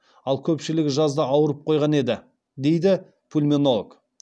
ал көпшілігі жазда ауырып қойған еді дейді пульменолог